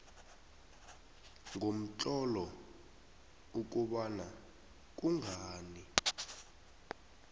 ngomtlolo ukobana kungani